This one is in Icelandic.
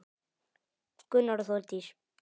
Gunnar og Þórdís.